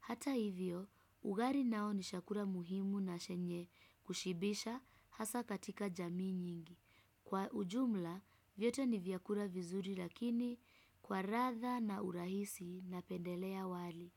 Hata hivyo, ugari nao ni shakura muhimu na shenye kushibisha hasa katika jamii nyingi. Kwa ujumla, vyote ni vyakura vizuri lakini kwa ratha na urahisi napendelea wali.